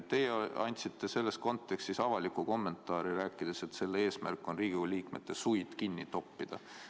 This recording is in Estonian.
Teie andsite selles kontekstis avaliku kommentaari, öeldes, et selle eesmärk on Riigikogu liikmete suid kinni toppida.